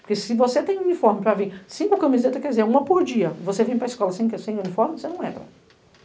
Porque se você tem um uniforme pra vir, cinco camisetas, quer dizer, uma por dia, você vem pra escola sem uniforme, você não entra.